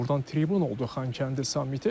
Burdan tribün oldu Xankəndi samiti.